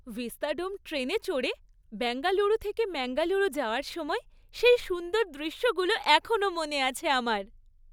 Vistadome ট্রেনে চড়ে বেঙ্গালুরু থেকে ম্যাঙ্গালুরু যাওয়ার সময় সেই সুন্দর দৃশ্যগুলো এখনও মনে আছে আমার।